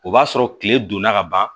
O b'a sɔrɔ kile donna ka ban